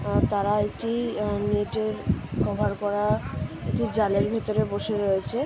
তারা একটি নেট - এর কভার করা একটি জালের ভিতরে বসে রয়েছে --